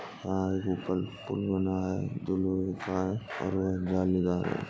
पुल बना है। जो लोहे का है और वो जालीदार ह --